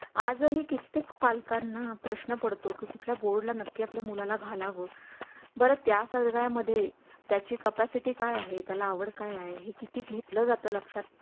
आज ही कित्येक पालकांना प्रश्न पडतो की कुठल्या bord ला नक्की आपल्या मुला ला घालावं बरात या सगळ्या मध्ये त्या ची capacity काय आहे त्याला आवड काय आहे किती घेतलं जातं लक्षात